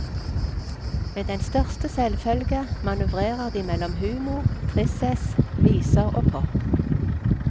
Med den største selvfølge manøvrerer de mellom humor, tristesse, viser og pop.